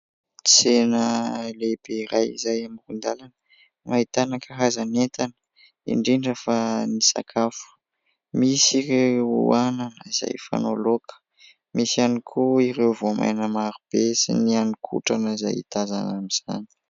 Tsena lehibe iray izay amoron-dalana no ahitana karazan'entana indrindra fa ny sakafo : misy ireo anana izay fanao loaka, misy ihany koa ireo voamaina maro be sy ny hanin-kotrana izay tazana amin'izany.